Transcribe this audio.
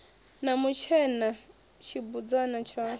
na mutshena na tshibudzana tshayo